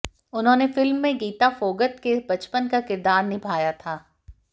उन्होंने फिल्म में गीता फोगत के बचपन का किरदार निभाया था